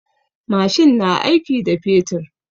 Mashin na aiki da fetur.